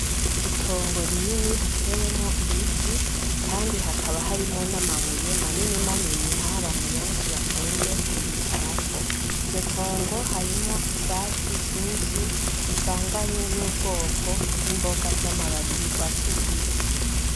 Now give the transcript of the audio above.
Itongo rinini ritewemwo ibiti kandi hakaba harimwo n'amabuye manini manini aho abantu benshi bakunze kuyicarako, iryo tongo harimwo ivyatsi vyinshi bivanganye n'ubwoko bw'imboga z'amababi y'urwatsi rubisi.